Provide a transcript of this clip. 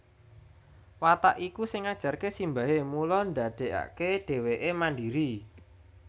Watak iku sing ngajarké simbahé mula ndadékaké dhéwéké mandiri